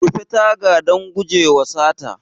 Rufe taga don gujewa sata.